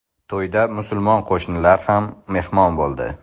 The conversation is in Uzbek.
To‘yda musulmon qo‘shnilar ham mehmon bo‘ldi.